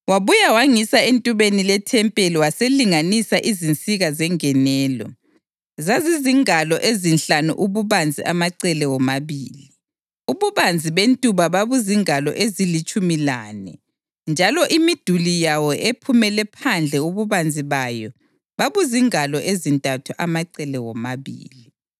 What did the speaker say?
Wabuya wangisa entubeni lethempeli waselinganisa izinsika zengenelo; zazizingalo ezinhlanu ububanzi amacele womabili. Ububanzi bentuba babuzingalo ezilitshumi lane njalo imiduli yayo ephumele phandle ububanzi bayo babuzingalo ezintathu amacele womabili.